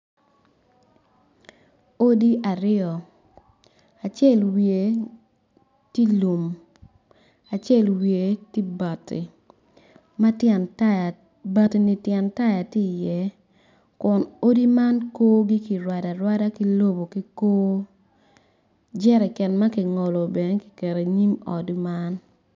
Odi aryo acel wiye tye i lum acel wiye tye bati ma tyen taya bati ni tyen taya tye i ye kun odi man korgi kirwado arwada ki lobo ki kwo jereken makingolo bene kikero i inyim ot man.